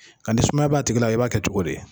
Nga ni sumaya b'a tigi la, i b'a kɛ cogo di ?